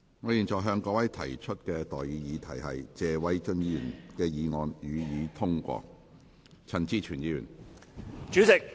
我現在向各位提出的待議議題是：謝偉俊議員動議的議案，予以通過。